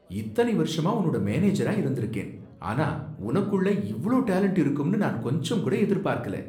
இத்தனை வருஷமா உன்னோட மேனேஜரா இருந்திருக்கேன், ஆனா உனக்குள்ள இவ்ளோ டேலன்ட் இருக்குன்னு நான் கொஞ்சம்கூட எதிர்பார்க்கல.